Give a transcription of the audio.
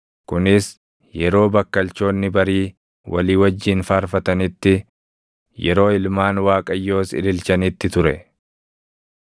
Kunis yeroo bakkalchoonni barii walii wajjin faarfatanitti, yeroo ilmaan Waaqayyoos ililchanitti ture.